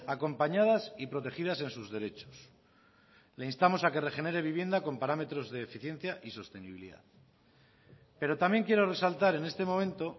acompañadas y protegidas en sus derechos le instamos a que regenere vivienda con parámetros de eficiencia y sostenibilidad pero también quiero resaltar en este momento